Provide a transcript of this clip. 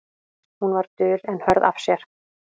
Hún var dul en hörð af sér.